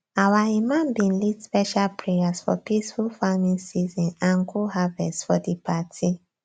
our imam bin lead special prayers for peaceful farmng season and good harvest for di party